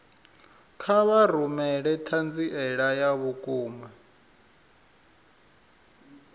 kha vha rumele ṱhanziela ya vhukuma